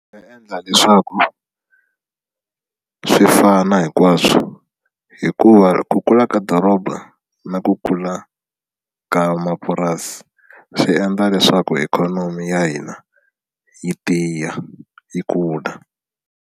Swa endla leswaku swi fana hinkwaswo hikuva ku kula ka doroba na ku kula ka mapurasi swi endla leswaku ikhonomi ya hina yi tiya yi kula.